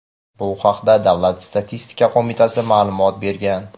Bu haqda Davlat statistika qo‘mitasi ma’lumot bergan.